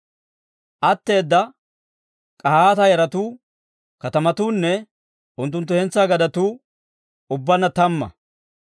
Atteeda K'ahaata yaratuu katamatuunne unttunttu hentsaa gadetuu ubbaanna tamma.